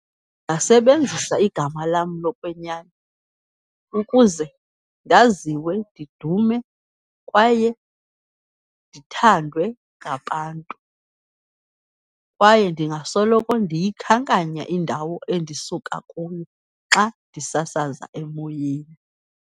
Ndingasebenzisa igama lam lokwenyani ukuze ndaziwe ndidume, kwaye ndithandwe ngabantu. Kwaye ndingasoloko ndiyikhankanya indawo endisuka kuyo xa ndisasaza emoyeni.